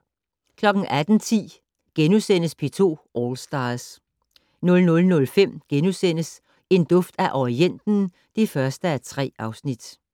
18:10: P2 All Stars * 00:05: En duft af Orienten (1:3)*